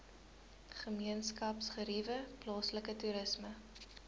gemeenskapsgeriewe plaaslike toerisme